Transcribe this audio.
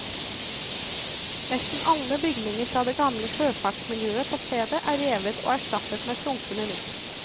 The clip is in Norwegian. Nesten alle bygninger fra det gamle sjøfartsmiljøet på stedet er revet og erstattet med flunkende nytt.